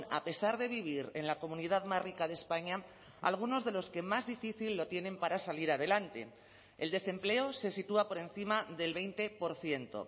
a pesar de vivir en la comunidad más rica de españa algunos de los que más difícil lo tienen para salir adelante el desempleo se sitúa por encima del veinte por ciento